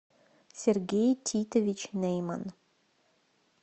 сергей титович нэйман